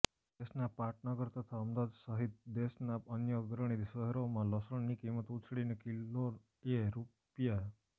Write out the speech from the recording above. દેશના પાટનગર તથા અમદાવાદ સહિત દેશનાં અન્ય અગ્રણી શહેરોમાં લસણની કિંમત ઊછળીને કિલોએ રૂ